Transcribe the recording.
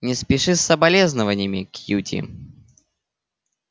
не спеши с соболезнованиями кьюти